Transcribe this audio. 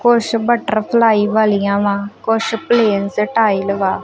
ਕੁਛ ਬਟਰਫਲਾਈ ਵਾਲੀਆਂ ਵਾ ਕੁਛ ਪਲੇਨ ਟਾਈਲਸ ਵਾ।